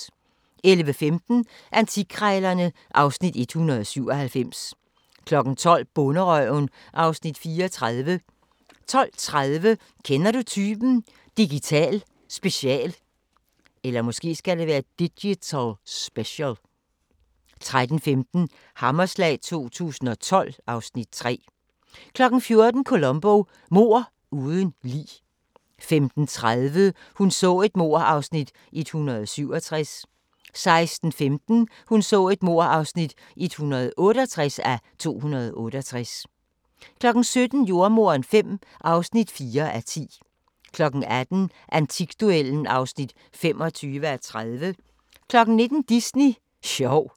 11:15: Antikkrejlerne (Afs. 197) 12:00: Bonderøven (Afs. 34) 12:30: Kender du typen? – Digital special 13:15: Hammerslag 2012 (Afs. 3) 14:00: Columbo: Mord uden lig 15:30: Hun så et mord (167:268) 16:15: Hun så et mord (168:268) 17:00: Jordemoderen V (4:10) 18:00: Antikduellen (25:30) 19:00: Disney sjov